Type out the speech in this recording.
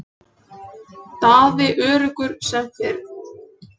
Daði öruggur sem fyrr.